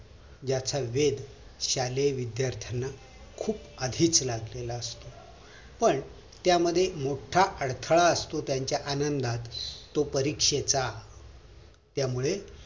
याचा वेद शालेय विद्यार्थांना खूप आधीच लागलेला असतो पण त्यामध्ये मोठा अडथळा असतो त्यांच्या आनंदात तो परीक्षेचा त्यामुळे